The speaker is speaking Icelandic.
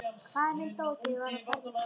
Faðir minn dó, þegar ég var á fermingaraldri.